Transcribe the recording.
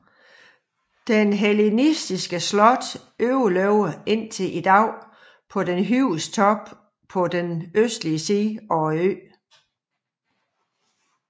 Det hellenistiske slot overlevede indtil i dag på den højeste top på østsiden af øen